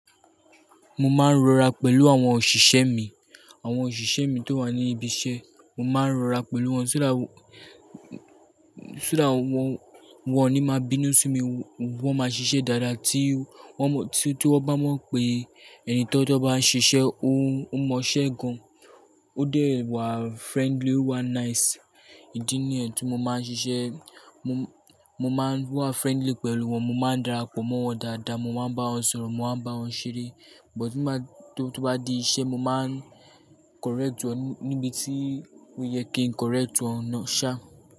Mo máa ń rọra pẹ̀lú àwọn òṣìṣẹ́ mi, àwọn òṣìṣẹ́ mi tó wà ní ibi iṣẹ́, mo máa ń rọra pẹ̀lú wọn, ṣúrà w-ṣúrà wọn, wọn ò ní máa bínú sí mi, wọ́n máa ṣiṣẹ́ dáadáa tí wọ́n mọ̀ tí, tí wọ́n bá mọ̀ pé ẹni tí wọ́n bá ń ṣiṣẹ́ ó, ó mọ iṣẹ́ gan. Ó dẹ̀ wà friendly, ó wà nice. Ìdí nìyẹn tí mo máa ń ṣiṣẹ́, mo, mo máa ń wà friendly pẹ̀lú wọn, mo máa ń darapọ̀ mọ́ wọn dáadáa, mo máa ń bá wọn sọ̀rọ̀, mo máa ń bá wọn ṣeré. But tí máa tó bá di iṣẹ́, mo máa ń correct wọn níbi tí ó yẹ kí n correct wọn náà ṣá.